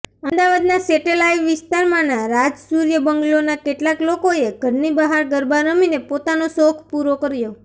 અમદાવાદના સેટેલાઈ વિસ્તારમાંના રાજસૂર્ય બંગલોના કેટલાક લોકોએ ઘરની બહાર ગરબા રમીને પોતાનો શોખ પૂરો કર્યો